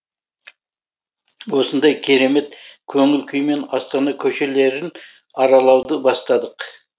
осындай керемет көңіл күймен астана көшелерін аралауды бастадық